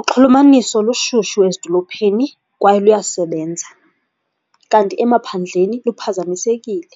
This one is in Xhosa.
Uxhulumaniso lushushu ezidolophini kwaye luyasebenza, kanti emaphandleni luphazamisekile